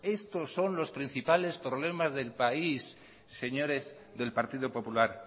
estos son los principales problemas del país señores del partido popular